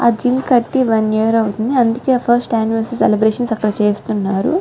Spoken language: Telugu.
ఆ జిమ్ కట్టి వన్ ఈయర్ అవుతుంది అందుకే ఫస్ట్ యానివర్సరీ సెలబ్రేషన్స్ అక్కడ చేస్తున్నారు.